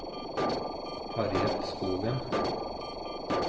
Harriet Skogen